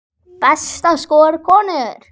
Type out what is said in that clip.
Besta skor, konur